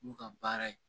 N'u ka baara ye